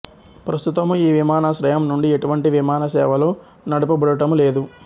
ప్రస్తుతము ఈ విమానాశ్రయం నుండి ఎటువంటి విమాన సేవలు నడపబడటము లేదు